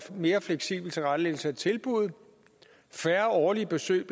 mere fleksibel tilrettelæggelse af tilbuddet og færre årlige besøg